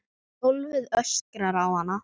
Gólfið öskrar á hana.